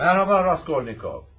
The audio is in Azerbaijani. Mərhaba Raskolnikov.